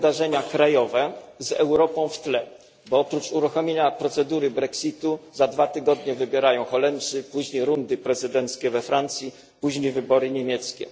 to wydarzenia krajowe z Europą w tle, bo oprócz uruchomienia procedury Brexitu za dwa tygodnie idą do wyborów Holendrzy, później odbędą się rundy prezydenckie we Francji, a następnie wybory niemieckie.